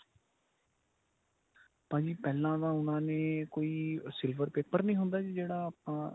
ਭਾਜੀ ਪਹਿਲਾਂ ਤਾਂ ਉਨ੍ਹਾਂ ਨੇ ਕੋਈ silver paper ਨੀ ਹੁੰਦਾ ਜੀ ਜਿਹੜਾ ਆਪਾਂ